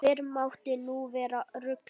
Fyrr mátti nú vera ruglið!